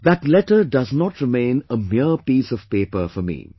That letter does not remain a mere a piece of paper for me